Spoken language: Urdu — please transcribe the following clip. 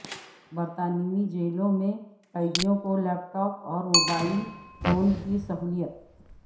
برطانوی جیلوں میں قیدیوں کو لیپ ٹاپ اور موبائل فون کی سہولت